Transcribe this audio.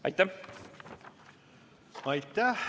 Aitäh!